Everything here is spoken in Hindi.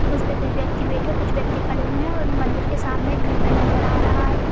उस पे कुछ व्यक्ति बैठे कुछ व्यक्ति खड़े हुए हैं और मंदिर के सामने एक घंटा नजर आ रहा है।